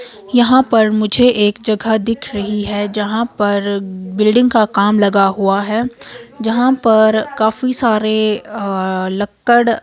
यहां पर मुझे एक जगह दिख रही है यहां पर बिल्डिंग का काम लगा हुआ है यहां पर काफी सारे अह लक्कड़--